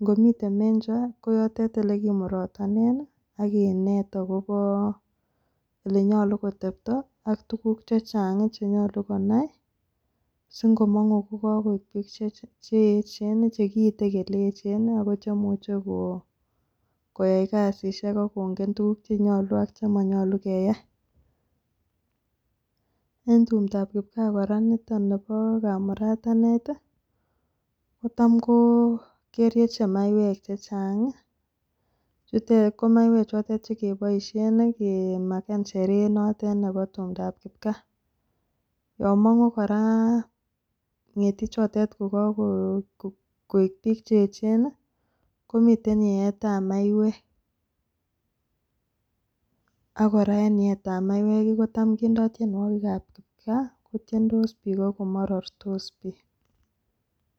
nkomiten mencho ko yote olekimurotonen Nii ak kinet akobo olenyolu kotepto ak tukuk chechangi chenyolu konai si nko mongu ko kokoik bik cheyechen nii chekiite kele eche Nii ako cheimuche ko koyai kasishek akongen tukuk cheyolu ak chemonyolu keyai . En tumdap kipkaa Koraa niton nibo kamuratanet tii kotam ko kerieche maiwek che Changi chutet ko maiwek chotet chekeboishen nii kemaken Sheree notet nebo tumdap kipkaa. Yon kongun Koraa ngetichotet ko kokoik bik cheyechen nii komiten yeetap maiwek ak Koraa en yeetap mauwek kii kotam kindo tyenuokik ab kipkaa kotyendos bik ak komorortos bik.